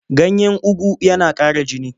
Ganyen ugu yana ƙara jini.